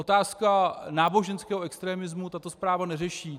Otázku náboženského extremismu tato zpráva neřeší.